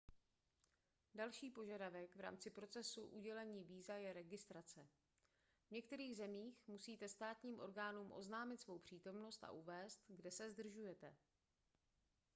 další požadavek v rámci procesu udělení víza je registrace v některých zemích musíte státním orgánům oznámit svou přítomnost a uvést kde se zdržujete